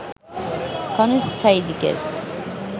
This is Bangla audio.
ক্ষণস্থায়ী দিকের